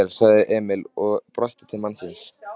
Gjörðu svo vel, sagði Emil og brosti til mannsins.